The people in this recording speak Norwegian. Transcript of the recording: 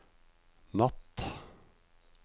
natt